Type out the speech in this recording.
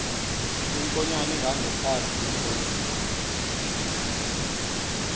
iinkonyan ezingangekhazi lentomb